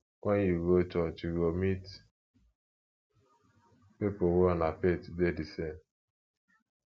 wen yu go church yu go meet pipo wey una faith dey de same